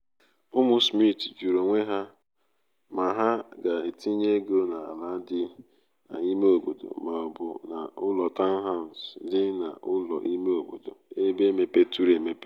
ụmụ smith jụrụ onwe ha ma ha ga-etinye ego n’ala dị n’ime obodo ma ọ bụ n’ụlọ taụnhas dị n’ụlọ ime obodo ebe mepeturu emepe